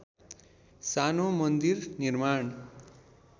सानो मन्दिर निर्माण